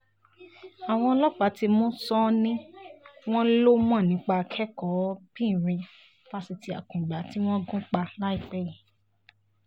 àwọn ọlọ́pàá ti mú sánnì wọn lọ mọ̀ nípa akẹ́kọ̀ọ́-bìnrin fásitì akungba tí wọ́n gún pa láìpẹ́ yìí